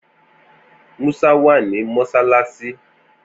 Musa wà ní mọṣáláṣí.